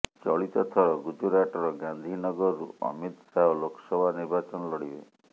ଚଳିତ ଥର ଗୁଜୁରାଟର ଗାନ୍ଧୀ ନଗରରୁ ଅମିତ ଶାହ ଲୋକସଭା ନିର୍ବାଚନ ଲଢିବେ